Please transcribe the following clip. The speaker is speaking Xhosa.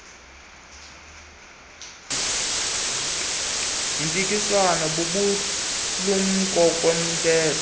yempikiswano bubulumko kumthengi